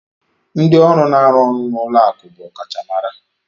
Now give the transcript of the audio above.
Ndị ọrụ na-arụ ọrụ n'ụlọ akụ̀ bụ ọkachamara.